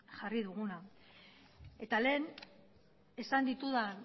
jarri duguna eta lehen esan ditudan